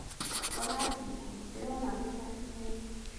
Ũrathiĩ kũ, ndĩrona wĩna ihenya?